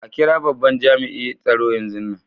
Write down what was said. A kira babban jami'in tsaro yanzun nan.